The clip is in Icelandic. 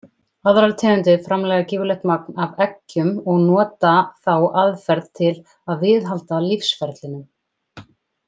Aðrar tegundir framleiða gífurlegt magn af eggjum og nota þá aðferð til að viðhalda lífsferlinum.